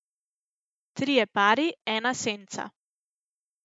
Trije pari, ena scena.